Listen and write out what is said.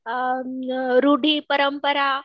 अ रूढी परंपरा